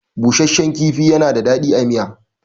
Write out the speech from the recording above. Bushashshan kifi yana da daɗi a miya.